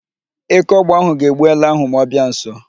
Eke ọgba ahụ ga-egbu ele ahụ ma ọ bịa nso.